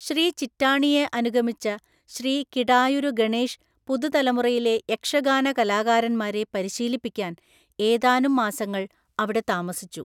ശ്രീ ചിറ്റാണിയെ അനുഗമിച്ച ശ്രീ കിടായുരു ഗണേഷ് പുതുതലമുറയിലെ യക്ഷഗാന കലാകാരന്മാരെ പരിശീലിപ്പിക്കാൻ ഏതാനും മാസങ്ങൾ അവിടെ താമസിച്ചു.